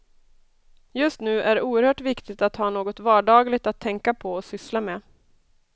Just nu är det oerhört viktigt att ha något vardagligt att tänka på och syssla med.